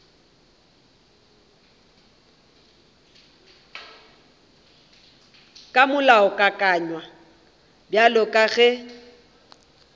ka molaokakanywa bjalo ka ge